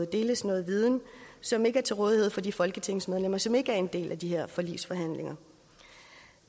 deles noget viden som ikke er til rådighed for de folketingsmedlemmer som ikke er en del af de her forligsforhandlinger